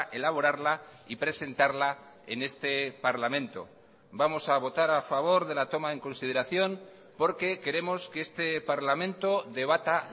elaborarla y presentarla en este parlamento vamos a votar a favor de la toma en consideración porque queremos que este parlamento debata